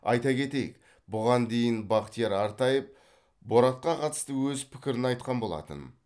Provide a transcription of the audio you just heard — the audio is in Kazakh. айта кетейік бұған дейін бахтияр артаев боратқа қатысты өз пікірін айтқан болатын